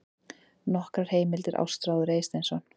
Nokkrar heimildir: Ástráður Eysteinsson.